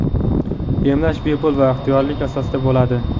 emlash bepul va ixtiyoriylik asosida bo‘ladi.